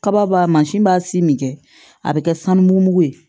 Kaba mansin b'a si min kɛ a bɛ kɛ sanu mugu ye